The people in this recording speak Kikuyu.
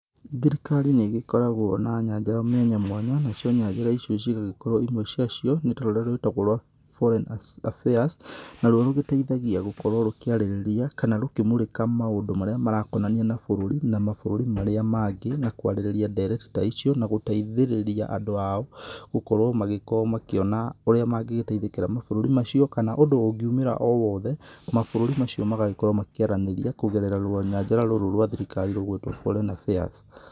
Thirikari nĩ ĩgĩkoragwo na nyanjara mwanyamwanya, nacio nyanjara icio cigagĩkorwo imwe ciacio nĩ ta rũrĩa rwĩtagwo rwa Foreign Affairs, na ruo rũgĩteithagia gũkorwo rũkĩarĩrĩria kana rũkĩmũrĩka maũndũ marĩa marakonania na bũrũri, na mabũrũri marĩa mangĩ na kwarĩrĩria ndereti ta icio na gũteithĩrĩria andũ ao gũkorwo magĩkĩona ũrĩa mangĩgĩteithĩkĩra mabũrũri macio kana ũndũ ũngiumĩra o wothe, mabũrũri macio magagĩkorwo makĩaranĩria kũgerera rũnyanjara rũrũ rwa thirikari rũgwĩtwo Foreign Affairs.